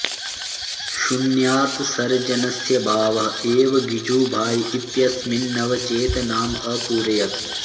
शून्यात् सर्जनस्य भावः एव गिजुभाई इत्यस्मिन् नवचेतनाम् अपूरयत्